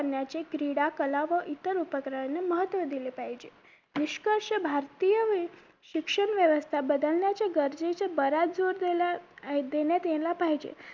करण्याचे क्रीडा कला व इतर उपक्रमांना महत्व दिले पाहिजे निष्कर्ष भारतीय व्य शिक्षण व्यवस्था बदलण्याचे गरजेचे बऱ्याच देण्यात यायला पाहिजे